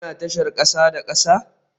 Kuna tashar kasa da kasa?